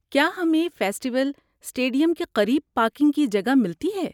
کیا ہمیں festival stadium کے قریب پارکنگ کی جگہ ملتی ہے؟